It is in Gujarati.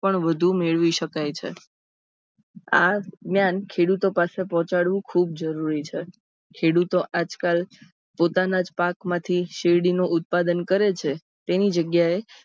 પણ વધુ મેળવી સકાય છે. આ જ્ઞાન ખેડૂતો પાસે પહોંચાડવું ખુબજ જરૂરી છે. ખેડૂતો આજકાલ પોતાનાજ પાકમાંથી શેરડીનું ઉત્પાદન કરે છે. એની જગ્યાએ